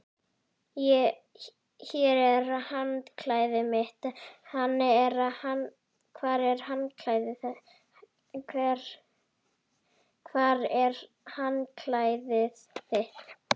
Hér er handklæðið mitt. Hvar er handklæðið þitt?